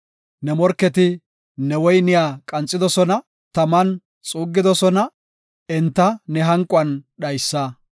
Ne morketi ne woyniya qanxidosona; taman xuuggidosona; enta ne hanquwan dhaysa.